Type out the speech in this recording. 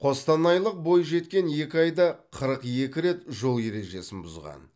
қостанайлық бойжеткен екі айда қырық екі рет жол ережесін бұзған